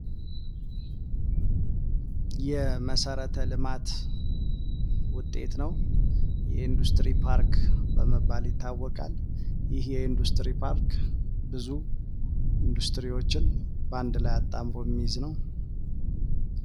የመሰረተ ልማት ውጤት ነው። የኢንዱስትሪ ፓርክ በመባል ይታወቃል። ይህ የኢንዱስትሪ ፓርክ ብዙ ኢንዱስትሪዎችን ባንድ ላይ አጣምሮ የሚይዝ ነው።